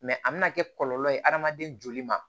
Mɛ a bɛna kɛ kɔlɔlɔ ye hadamaden joli ma